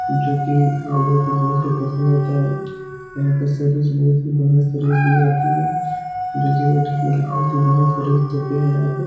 जोकि लोगों को बहुत ही पसंद आता है । यहाँ का सर्विस बहुत ही बढ़ियां सर्विस दी जाती है जोकि वेटर लोग बहुत ही बढ़ियां सर्विस देते है यहाँ पे ।